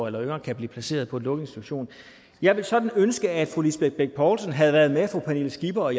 eller yngre kan blive placeret på en lukket institution jeg ville sådan ønske at fru lisbeth bech poulsen havde været med fru pernille skipper og